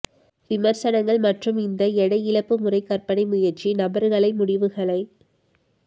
விமர்சனங்கள் மற்றும் இந்த எடை இழப்பு முறை கற்பனை முயற்சி நபர்களை முடிவுகளை